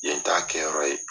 Yen t'a kɛyɔrɔ ye